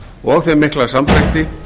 og þeim mikla samdrætti